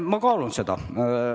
Ma kaalun seda.